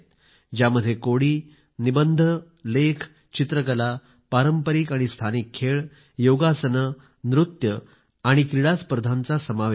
त्यात कोडी निबंध लेख चित्रकला पारंपरिक आणि स्थानिक खेळ योगासने नृत्य आणि क्रीडा स्पर्धा सामील आहेत